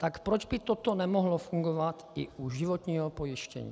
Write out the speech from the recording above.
Tak proč by toto nemohlo fungovat i u životního pojištění?